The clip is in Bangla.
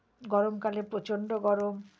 গরমকালে প্রচণ্ড গরম।